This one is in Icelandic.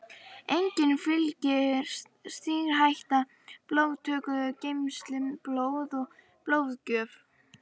Einnig fylgir sýkingarhætta blóðtöku, geymslu blóðs og blóðgjöf.